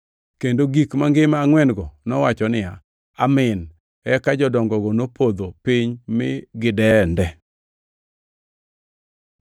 Kendo gik mangima angʼwen-go nowacho niya “Amin” eka jodongogo nopodho piny mi gidende.